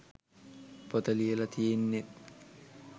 පොත ලියලා තියෙන්නෙත්